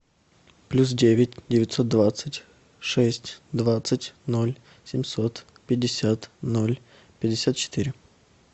плюс девять девятьсот двадцать шесть двадцать ноль семьсот пятьдесят ноль пятьдесят четыре